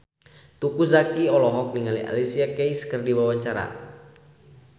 Teuku Zacky olohok ningali Alicia Keys keur diwawancara